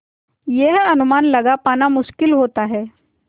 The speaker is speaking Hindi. यह अनुमान लगा पाना मुश्किल होता है